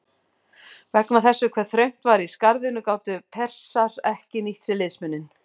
Vegna þess hve þröngt var í skarðinu gátu Persar ekki nýtt sér liðsmuninn.